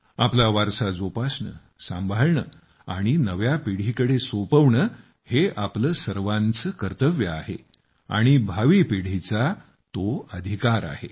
आपला वारसा जोपासणे सांभाळणे आणि नव्या पिढीकडे सोपवणे हे आपले सर्वांचे कर्तव्य आहे आणि भावी पिढीचा तो अधिकार आहे